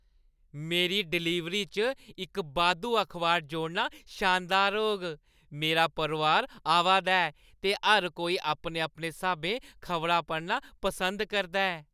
मेरी डलीवरी च इक बाद्धू अखबार जोड़ना शानदार होग! मेरा परोआर आवा दा ऐ, ते हर कोई अपने-अपने स्हाबें खबरां पढ़ना पसंद करदा ऐ।